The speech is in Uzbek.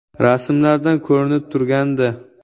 Rasmlardan ko‘rinib turgandi.